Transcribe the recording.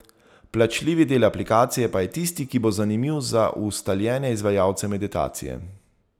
Plačljivi del aplikacije pa je tisti, ki bo zanimiv za ustaljene izvajalce meditacije.